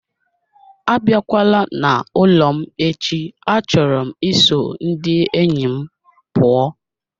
Abịakwala n'ụlọ m echi achọrọ m iso ndị enyi m pụọ